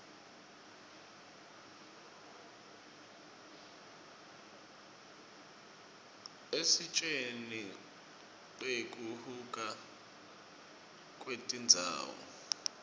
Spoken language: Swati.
isitjen nqeku huka kwetindzawo